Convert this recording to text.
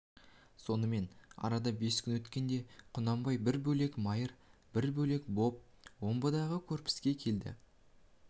сонымен арада бес күн өткенде құнанбай бір бөлек майыр бір бөлек боп омбыдағы көрпіске келді